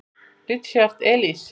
Richard Elis.